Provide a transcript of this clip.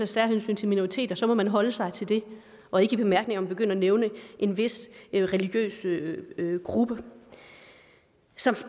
særhensyn til minoriteter så må man holde sig til det og ikke i bemærkningerne begynde at nævne en vis religiøs gruppe som